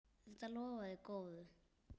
Þetta lofaði góðu!